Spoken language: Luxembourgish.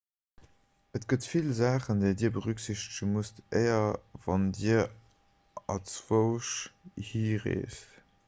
et gëtt vill saachen déi dir berücksichtege musst éier a wann dir anzwousch hi reest